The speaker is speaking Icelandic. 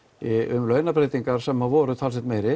um launabreytingar sem voru talsvert meiri